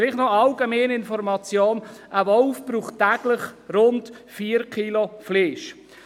– Eine allgemeine Information: Ein Wolf braucht täglich rund 4 Kilogramm Fleisch.